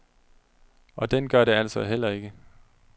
Og den gør det altså heller ikke.